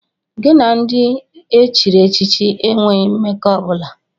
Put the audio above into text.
Gị na ndị e chiri echichi enweghị mmekọ ọ bụla!